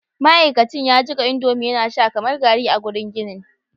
ma'aikacin ya jika indomie yana sha kamar garri a gurin ginin